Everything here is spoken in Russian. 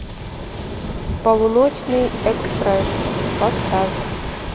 полуночный экспресс поставь